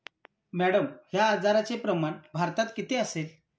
Madam, या आजारचे प्रमाण भारतात किती असेल?